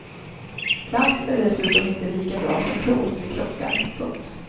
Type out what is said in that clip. Plast är dessutom inte lika bra som plåt vid krockar. punkt